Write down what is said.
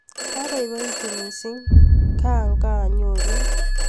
Kabaibaitu mising kanganyorun